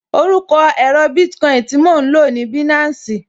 Orúkọ èro Bitcoin tí mo lò ní Binansi